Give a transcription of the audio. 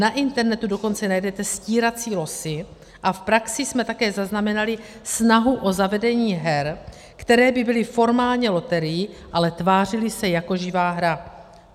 Na internetu dokonce najdete stírací losy a v praxi jsme také zaznamenali snahu o zavedení her, které by byly formálně loterií, ale tvářily se jako živá hra.